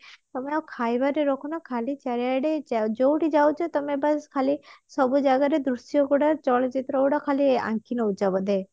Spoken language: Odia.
ଖାଲି ଚାରିଆଡେ ଯୋଉଠି ଯାଉଛ ତମେ ବାସ୍ ଖାଲି ସବୁ ଜାଗରୁ ଦୃଶ୍ୟ ଗୁଡାକ ଚଳଚିତ୍ର ଗୁଡାକ ଖାଲି ଆଙ୍କି ନଉଛ ବୋଧେ